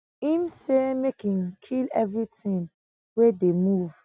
im say make im kill evritin wey dey move